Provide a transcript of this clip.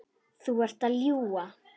Þú ert að ljúga!